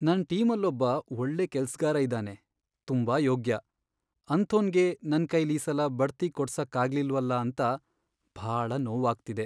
ನನ್ ಟೀಮಲ್ಲೊಬ್ಬ ಒಳ್ಳೆ ಕೆಲ್ಸ್ಗಾರ ಇದಾನೆ, ತುಂಬಾ ಯೋಗ್ಯ.. ಅಂಥೋನ್ಗೆ ನನ್ಕೈಲೀಸಲ ಬಡ್ತಿ ಕೊಡ್ಸಕ್ಕಾಗ್ಲಿಲ್ವಲ ಅಂತ ಭಾಳ ನೋವಾಗ್ತಿದೆ.